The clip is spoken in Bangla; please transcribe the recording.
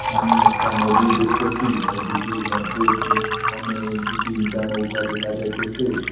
আমি একটা নদী দেখতেসি নদীটির মধ্যে দু তিনটা নৌকা দেখা যাইতেসে।